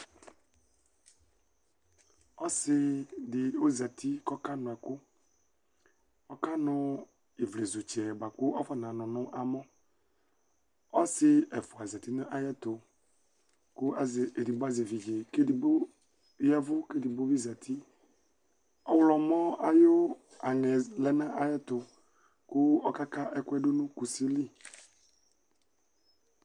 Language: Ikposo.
Ɔsìɖì ozati ƙʋ ɔƙanʋ ɛƙʋƆƙanʋ ivlezutsɛ bʋa ƙʋ afɔnanʋ nʋ amɔƆsì ɛfʋa zati nʋ aƴɛtʋ, eɖigbo azɛ eviɖze ƙʋ eɖigbo ƴaɛvʋ ƙʋ eɖigbo zatiƆɣlɔmɔ aƴʋ aŋɛ lɛ nʋ aƴɛtʋ, ƙʋ ɔƙaƙa ɛƙʋƴɛ ɖʋnʋ ƙusili